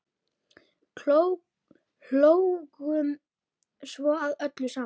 Hlógum svo að öllu saman.